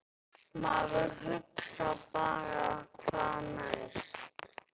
Maður hugsar bara hvað næst?!